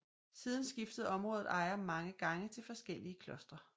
Siden skiftede området ejer mange gange til forskellige klostre